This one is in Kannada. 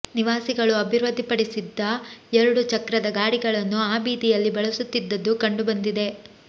ನಿವಾಸಿಗಳು ಅಭಿವೃದ್ದಿಪಡಿಸಿದ್ದ ಎರಡು ಚಕ್ರದ ಗಾಡಿಗಳನ್ನು ಆ ಬೀದಿಯಲ್ಲಿ ಬಳಸುತ್ತಿದ್ದದ್ದು ಕಂಡುಬಂದಿದೆ